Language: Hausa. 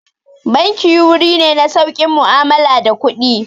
Banki wuri ne na saukin mu'amala da kuɗi.